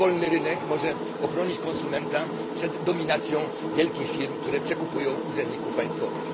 Tylko wolny rynek może ochronić konsumenta przed dominacją wielkich firm, które przekupują urzędników państwowych.